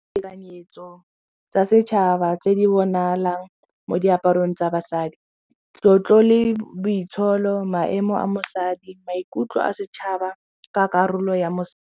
Tekanyetso tsa setšhaba tse di bonalang mo diaparong tsa basadi, tlotlo le boitsholo maemo a mosadi maikutlo a setšhaba ka karolo ya .